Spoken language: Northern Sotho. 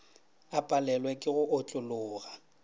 a palelwe ke go otlologa